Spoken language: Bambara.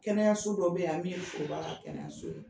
Kɛnɛyaso dɔ be yan a min ka kɛnɛyaso.